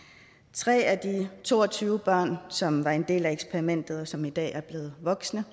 tre af de to og tyve børn som var en del af eksperimentet og som i dag er blevet voksne